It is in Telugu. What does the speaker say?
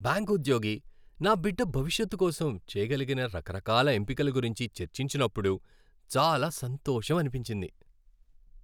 బ్యాంకు ఉద్యోగి నా బిడ్డ భవిష్యత్తు కోసం చేయగలిగిన రకరకాల ఎంపికల గురించి చర్చించినప్పుడు చాలా సంతోషమనిపించింది.